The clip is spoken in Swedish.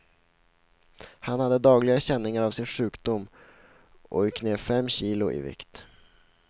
Han hade dagligen känningar av sin sjukdom och gick ner fem kilo i vikt.